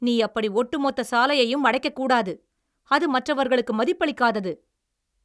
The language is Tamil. நீ அப்படி ஒட்டுமொத்த சாலையையும் அடைக்கக்கூடாது. அது மற்றவர்களுக்கு மதிப்பளிக்காதது!